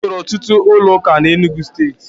E nwere ọtụtụ ụlọụka na Enugwu Steeti.